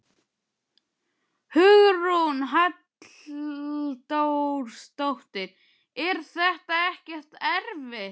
Hugrún Halldórsdóttir: Er þetta ekkert erfitt?